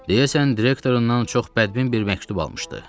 Deyəsən, direktorundan çox bədbin bir məktub almışdı.